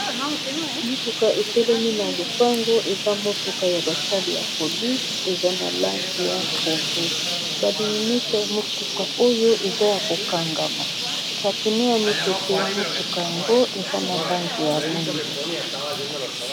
motuka etelemi na lopango eza motuka ya basale ya polise eza na lange ya pondo balinisa ya motuka oyo eza ya kokangama bapine ya mipepe ya motuka yango eza na lange ya mwindu